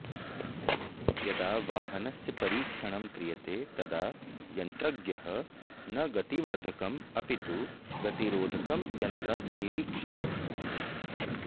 यदा वाहनस्य परीक्षणं क्रियते तदा यन्त्रज्ञः न गतिवर्धकम् अपि तु गतिरोधकं यन्त्रं निरीक्षते